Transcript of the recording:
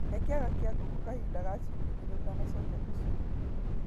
He kĩaga kĩa ngũkũ kahinda ga ciumĩa igĩrĩ ũtanacokia tũcũi.